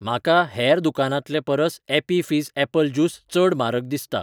म्हाका हेर दुकानांतलेपरस ॲपी फिझ ऍपल ज्यूस चड म्हारग दिसता